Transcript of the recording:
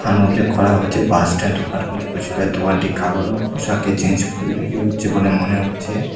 থান উল্লেখ করা হচ্ছে বাস স্ট্যান্ড দোকানটি কাপড়ের পোশাকের চেঞ্জ করে বিক্রি হচ্ছে বলে মনে হচ্ছে।